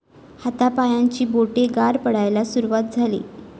हातापायांची बोटे गार पडायला सुरुवात झाली.